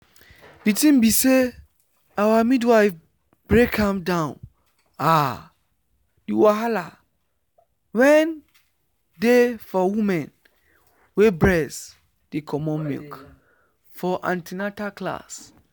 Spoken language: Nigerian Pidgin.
the thing be say our midwife break am down ah the wahala wen dey for women wey breast dey comot milk for an ten atal class.